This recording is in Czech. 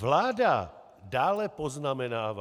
Vláda dále poznamenává...